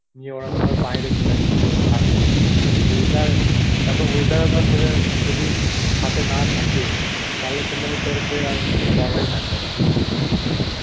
নিয়ে ওরা তো ধর বাইরে চলে যাচ্ছে খাটতে, এ weather তার পর weather ও ধর তদের যদি সথে না থাকে তাহলে তো মানে তদের আর কিছু করার ই থাকবে না